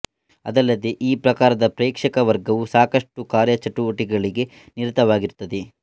ಅದಲ್ಲದೇ ಈ ಪ್ರಕಾರದ ಪ್ರೇಕ್ಷಕ ವರ್ಗವು ಸಾಕಷ್ಟು ಕಾರ್ಯಚಟುವಟಿಕೆಯಲ್ಲಿ ನಿರತವಾಗಿರುತ್ತದೆ